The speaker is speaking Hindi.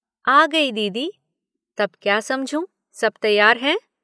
आ गई दीदी। तब क्या समझूं, सब तैयार हैं।